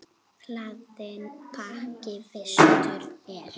Hlaðinn bakki vistum er.